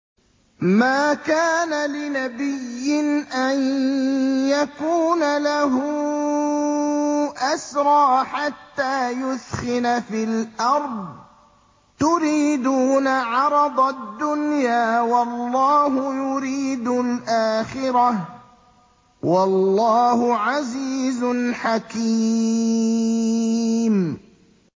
مَا كَانَ لِنَبِيٍّ أَن يَكُونَ لَهُ أَسْرَىٰ حَتَّىٰ يُثْخِنَ فِي الْأَرْضِ ۚ تُرِيدُونَ عَرَضَ الدُّنْيَا وَاللَّهُ يُرِيدُ الْآخِرَةَ ۗ وَاللَّهُ عَزِيزٌ حَكِيمٌ